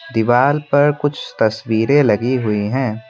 दीवाल पर कुछ तस्वीरें लगी हुई है।